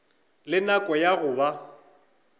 le nako ya go ba